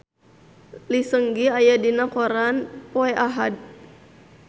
Lee Seung Gi aya dina koran poe Ahad